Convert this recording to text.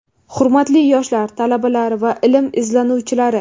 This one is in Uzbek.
Hurmatli yoshlar, talabalar va ilm izlanuvchilari!.